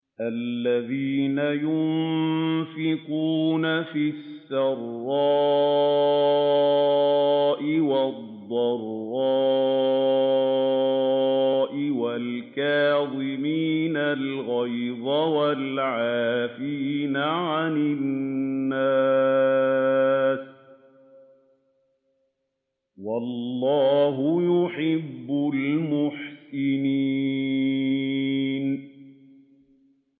الَّذِينَ يُنفِقُونَ فِي السَّرَّاءِ وَالضَّرَّاءِ وَالْكَاظِمِينَ الْغَيْظَ وَالْعَافِينَ عَنِ النَّاسِ ۗ وَاللَّهُ يُحِبُّ الْمُحْسِنِينَ